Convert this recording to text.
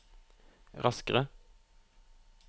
raskere